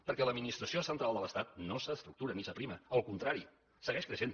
perquè l’administració central de l’estat no s’estructura ni s’aprima al contrari segueix creixent